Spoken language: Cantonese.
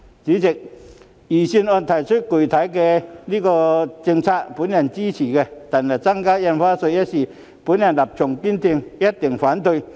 主席，我支持預算案提出的具體財政政策，但對於增加印花稅一事，我立場堅定，必定反對到底。